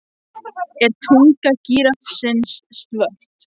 Er tunga gíraffans svört?